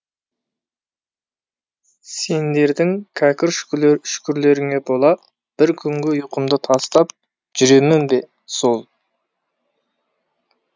сендердің кәкір шүкірлеріңе бола бір күнгі ұйқымды тастап жүремін бе сол